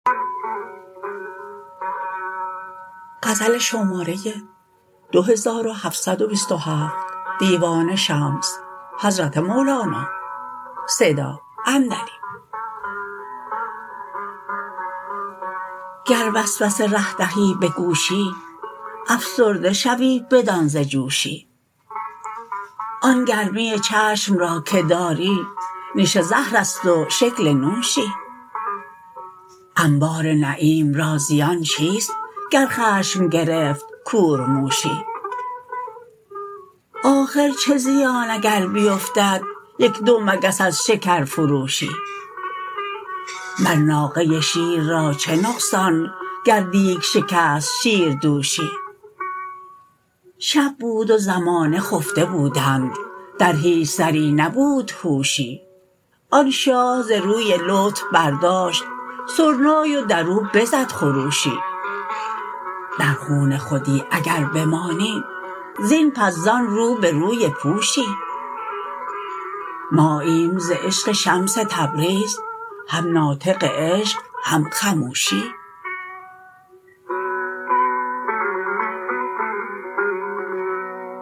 گر وسوسه ره دهی به گوشی افسرده شوی بدان ز جوشی آن گرمی چشم را که داری نیش زهر است و شکل نوشی انبار نعیم را زیان چیست گر خشم گرفت کورموشی آخر چه زیان اگر بیفتد یک دو مگس از شکرفروشی مر ناقه شیر را چه نقصان گر دیگ شکست شیردوشی شب بود و زمانه خفته بودند در هیچ سری نبود هوشی آن شاه ز روی لطف برداشت سرنای و در او بزد خروشی در خون خودی اگر بمانی زین پس زان رو به روی پوشی ماییم ز عشق شمس تبریز هم ناطق عشق هم خموشی